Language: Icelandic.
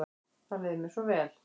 Þá leið mér svo vel.